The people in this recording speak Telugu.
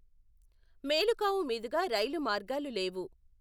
మేలుకావు మీదుగా రైలు మార్గాలు లేవు.